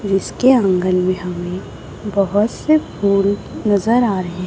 जिसके अंगन में हमें बहोत से फूल नजर आ रहे--